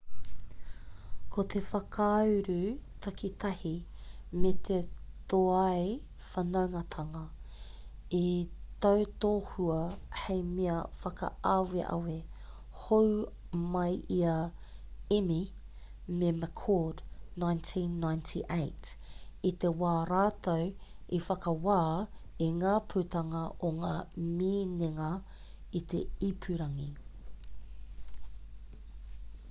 ko te whakauru takitahi me te tōai whanaungatanga i tautohua hei mea whakaaweawe hou mai i a eighmey me mccord 1998 i te wā rātou i whakawā i ngā putanga o ngā minenga i te ipurangi